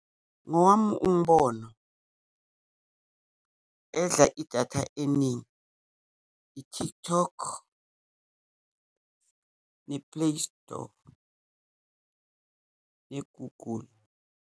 Ngowami umbono, edla idatha eningi, i-TikTok, ne-Play Store, ne-Google.